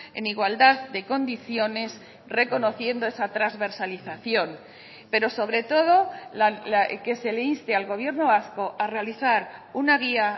en igualdad de condiciones reconociendo esa transversalización pero sobre todo que se le inste al gobierno vasco a realizar una guía